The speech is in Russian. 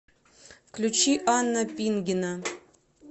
включи анна пингина